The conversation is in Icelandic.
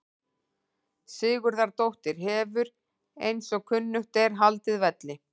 Sigurðardóttir hefur eins og kunnugt er haldið velli.